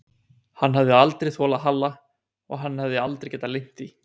Hann hafði aldrei þolað Halla og hann hafði aldrei getað leynt því.